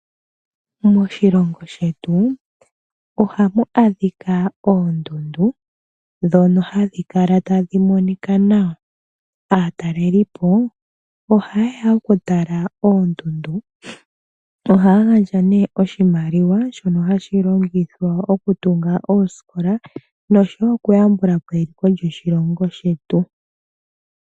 Moshilongo shetu ohamu adhika oondundu dhono hadhi kala tadhi monika nawa. Aatalelipo ohaya oku tala oondundu,. Oha gandja oshimaliwa shono hashi longithwa oku tunga oosikola oshowo oku yambulapo eliko lyoshilongo shetu.